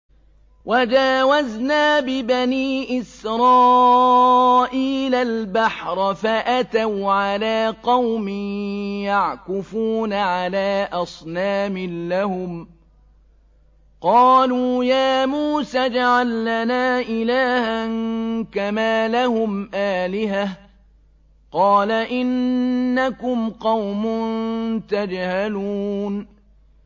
وَجَاوَزْنَا بِبَنِي إِسْرَائِيلَ الْبَحْرَ فَأَتَوْا عَلَىٰ قَوْمٍ يَعْكُفُونَ عَلَىٰ أَصْنَامٍ لَّهُمْ ۚ قَالُوا يَا مُوسَى اجْعَل لَّنَا إِلَٰهًا كَمَا لَهُمْ آلِهَةٌ ۚ قَالَ إِنَّكُمْ قَوْمٌ تَجْهَلُونَ